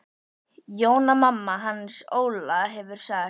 Jóna mamma hans Óla hefur sagt.